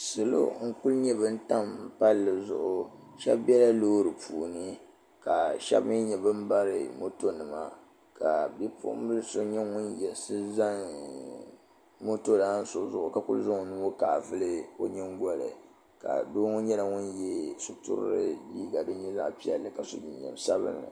salo n ku nyɛ bin tam palli zuɣu shab biɛla loori puuni ka shab mii nyɛ bin bari moto nima ka bipuɣunbili so nyɛ ŋun yiɣisi zani moto lan so zuɣu ka zaŋ o nuu ŋɔ kaai vuli o nyingoli ka doo ŋɔ nyɛla ŋun yɛ sitirili liiga din nyɛ zaɣ piɛlli ka so jinjɛm sabinli